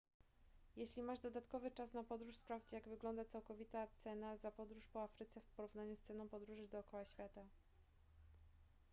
jeżeli masz dodatkowy czas na podróż sprawdź jak wygląda całkowita cena za podróż po afryce w porównaniu z ceną podróży dookoła świata